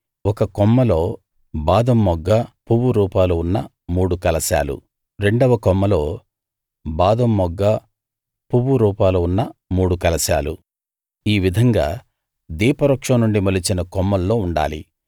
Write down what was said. ఒక కొమ్మలో బాదం మొగ్గ పువ్వు రూపాలు ఉన్న మూడు కలశాలు రెండవ కొమ్మలో బాదం మొగ్గ పువ్వురూపాలు ఉన్న మూడు కలశాలు ఈ విధంగా దీపవృక్షం నుండి మొలిచిన కొమ్మల్లో ఉండాలి